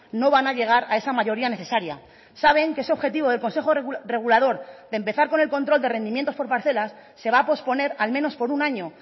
no van a llegar a esa mayoría necesaria saben que ese objetivo del consejo regulador de empezar con el control de rendimientos por parcelas se va a posponer al menos por un año